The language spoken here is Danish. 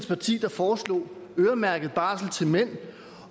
parti der foreslog øremærket barsel til mænd